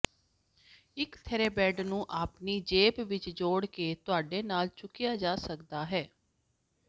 ਇਕ ਥੈਰੇਬੈਂਡ ਨੂੰ ਆਪਣੀ ਜੇਬ ਵਿਚ ਜੋੜ ਕੇ ਤੁਹਾਡੇ ਨਾਲ ਚੁੱਕਿਆ ਜਾ ਸਕਦਾ ਹੈ